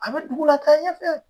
A be dugu la ka ɲɛfɛ